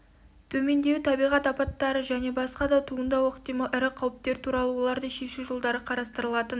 төмендеуі табиғат апаттары және басқа да туындауы ықтимал ірі қауіптер туралы оларды шешу жолдары қарастырылатын